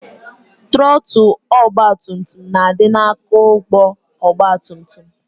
Trọtụl ọgbatumtum na-adị n'aka ụgbọ ọgbatumtum